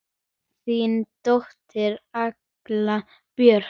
Þín dóttir, Agla Björk.